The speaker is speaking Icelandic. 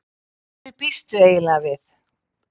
Hverju býstu eiginlega við?